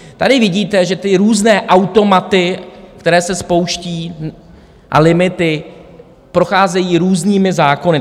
Tady vidíte, že ty různé automaty, které se spouští, a limity procházejí různými zákony.